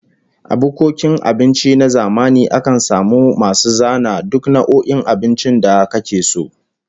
A bukkokin abinci na zamani akan samu masu zana duk nau'o'in abincin da ake da su